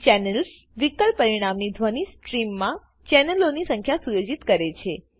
channels વિકલ્પ પરિણામી ધ્વની સ્ટ્રીમમા ચેનલોની સંખ્યા સુયોજિત કરે છે